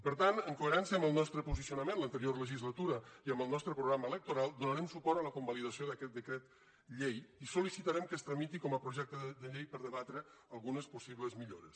per tant en coherència amb el nostre posicionament a l’anterior legislatura i amb el nostre programa electoral donarem suport a la convalidació d’aquest decret llei i sol·licitarem que es tramiti com a projecte de llei per debatre algunes possibles millores